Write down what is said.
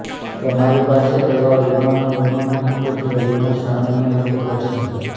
તમારી પાસે એવા વીમાનો વીમો નથી કે જે વીમો સામાન્ય રીતે કરશે